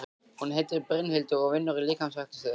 Hún heitir Brynhildur og vinnur í líkamsræktarstöð.